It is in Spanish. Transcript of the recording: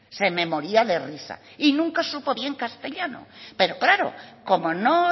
se me moría de risa y nunca supo bien castellano pero claro como no